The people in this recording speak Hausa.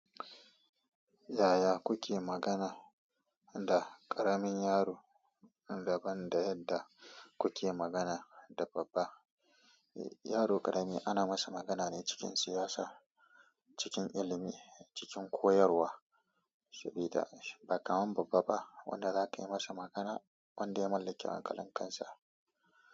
Yaya kuke magana da ƙaramin yaro daban da yadda kuke magana da babba? Yaro ƙarami ana masa magana ne cikin siyasa, cikin ilimi, cikin koyarwa, sabida ba kamar babba ba wanda za ka yi masa magana wanda ya mallaki hankalin kansa.